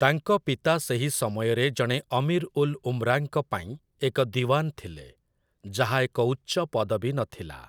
ତାଙ୍କ ପିତା ସେହି ସମୟରେ ଜଣେ ଅମୀର୍ ଉଲ୍ ଉମ୍‌ରାଙ୍କ ପାଇଁ ଏକ ଦିୱାନ୍ ଥିଲେ, ଯାହା ଏକ ଉଚ୍ଚ ପଦବୀ ନଥିଲା ।